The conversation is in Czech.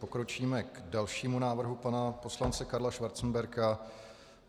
Pokročíme k dalšímu návrhu pana poslance Karla Schwarzenberga.